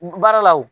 Baara la o